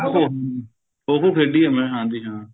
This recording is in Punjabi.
ਹਮ ਖੋ ਖੋ ਖੇਡੀ ਏ ਮੈਂ ਹਾਂਜੀ ਹਾਂ